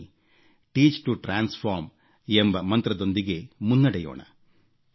ಬನ್ನಿ ಪರಿವರ್ತನೆಗಾಗಿ ಬೋಧಿಸಿ ಎಂಬ ಮಂತ್ರದೊಂದಿಗೆ ಮುನ್ನಡೆಯೋಣ